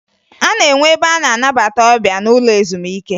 A na-enwe ebe a na-anabata ọbịa n'ụlọ ezumike